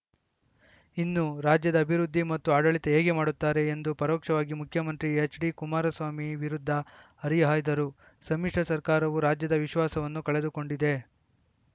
ಇನ್ನು ರಾಜ್ಯದ ಅಭಿವೃದ್ಧಿ ಮತ್ತು ಆಡಳಿತ ಹೇಗೆ ಮಾಡುತ್ತಾರೆ ಎಂದು ಪರೋಕ್ಷವಾಗಿ ಮುಖ್ಯಮಂತ್ರಿ ಎಚ್‌ಡಿಕುಮಾರಸ್ವಾಮಿ ವಿರುದ್ಧ ಹರಿಹಾಯ್ದರು ಸಮ್ಮಿಶ್ರ ಸರ್ಕಾರವು ರಾಜ್ಯದ ವಿಶ್ವಾಸವನ್ನು ಕಳೆದುಕೊಂಡಿದೆ